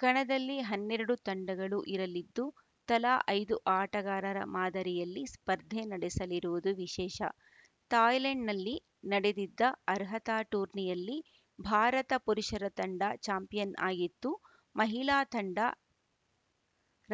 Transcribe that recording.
ಕಣದಲ್ಲಿ ಹನ್ನೆರಡು ತಂಡಗಳು ಇರಲಿದ್ದು ತಲಾ ಐದು ಆಟಗಾರರ ಮಾದರಿಯಲ್ಲಿ ಸ್ಪರ್ಧೆ ನಡೆಸಲಿರುವುದು ವಿಶೇಷ ಥಾಯ್ಲೆಂಡ್‌ನಲ್ಲಿ ನಡೆದಿದ್ದ ಅರ್ಹತಾ ಟೂರ್ನಿಯಲ್ಲಿ ಭಾರತ ಪುರುಷರ ತಂಡ ಚಾಂಪಿಯನ್‌ ಆಗಿತ್ತು ಮಹಿಳಾ ತಂಡ